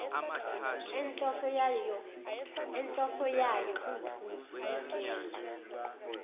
enhloso yayo kungukunikela